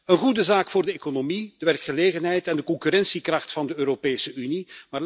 Een goede zaak voor de economie, de werkgelegenheid en de concurrentiekracht van de Europese Unie.